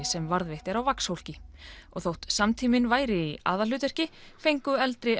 sem varðveitt er á vaxhólki þótt samtíminn væri í aðalhlutverki fengu eldri